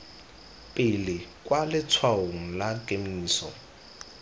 pele kwa letshwaong la kemiso